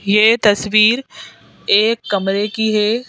ये तस्वीर एक कमरे की है।